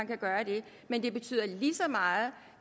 kan gøre det men det betyder lige så meget